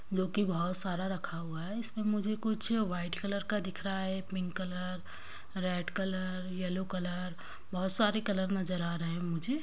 जो की बहुत सारा रखा हुआ है इसमें मुझे कुछ व्हाइट कलर का दिख रहा है pink colour red colour yellow colour बहुत सारे कलर नजर आ रहे है मुझे----